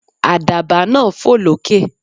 Àdàbà náà fò lókè.